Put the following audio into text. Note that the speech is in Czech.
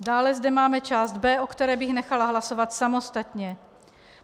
Dále zde máme část B, o které bych nechala hlasovat samostatně.